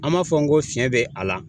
An m'a fɔ n go fiɲɛ be a la